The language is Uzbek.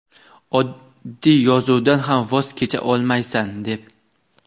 oddiy yozuvdan ham voz kecha olmaysan deb.